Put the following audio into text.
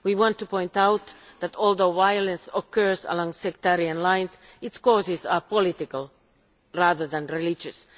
We want to point out that, although the violence occurs along sectarian lines, its causes are political rather than religious.